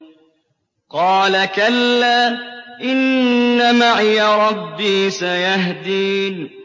قَالَ كَلَّا ۖ إِنَّ مَعِيَ رَبِّي سَيَهْدِينِ